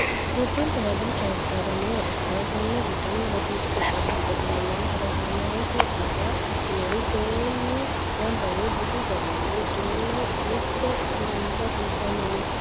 gobbankera duucha daga nooha ikkanna tenne giddono wodiidi qoqqowi giddo afamannori hamerete daga ikkinori seennu ganba yee budu garinni uddireenna mitte xurunba ufuuffanni no